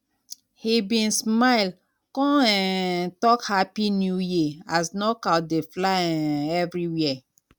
he bin smile con um talk happy um new year as knockout dey fly um everiwhere